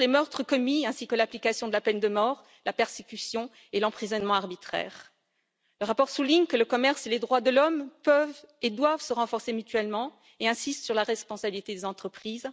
Il dénonce les meurtres commis ainsi que l'application de la peine de mort, la persécution et l'emprisonnement arbitraire. Le rapport souligne que le commerce et les droits de l'homme peuvent et doivent se renforcer mutuellement et insiste sur la responsabilité des entreprises.